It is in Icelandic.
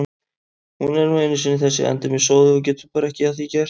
Hún er nú einu sinni þessi endemis sóði og getur bara ekki að því gert.